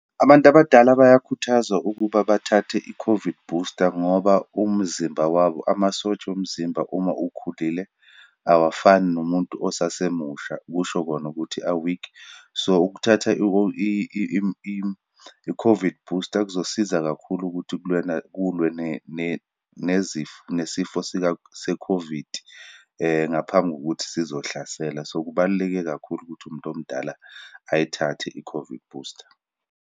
Abantu abadala bayakhuthazwa ukuba bathathe i-COVID booster ngoba umzimba wabo, amasotsha omzimba uma ukhulile, awafani nomuntu osasemusha, kusho kona ukuthi a-weak. So, ukuthatha i-COVID booster kuzosiza kakhulu ukuthi kulwe nezifo, nesifo, sika, se-COVID, ngaphambi kokuthi sizohlasela. So, kubaluleke kakhulu ukuthi umuntu omdala ayithathe i-COVID booster.